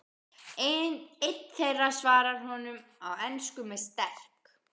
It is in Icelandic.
Einn þeirra svarar honum á ensku með sterk